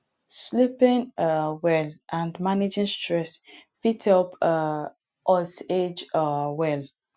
sleeping um well and managing stress fit help um us age um well